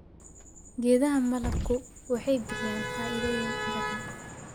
Geedaha malabku waxay bixiyaan faa'iidooyin badan.